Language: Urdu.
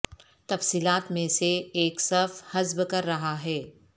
تفصیلات میں سے ایک صف حذف کر رہا ہے